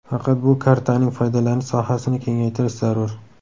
Faqat bu kartaning foydalanish sohasini kengaytirish zarur.